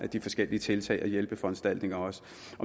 de forskellige tiltag og hjælpeforanstaltninger